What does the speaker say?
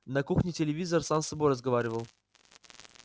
на кухне телевизор сам с собой разговаривал